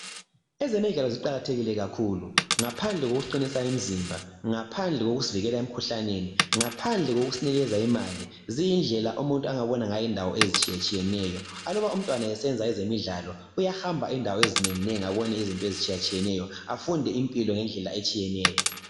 Ezemidlalo ziqakathekile kakhulu ngaphandle kokuqinisa imizimba ngaphandle kokusivikela emikhuhlaneni ngaphandle kokusinikeza imali ziyindlela umuntu angabona indawo ezitshiyatshiyeneyo aluba umntwana esenza ezemidlalo uyahamba indawo ezinenginengi abone izinto ezitshiyatshiyeneyo afude impilo ngendlela etshiyeneyo.